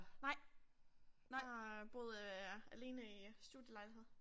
Nej. Nej jeg har boet øh alene i studielejlighed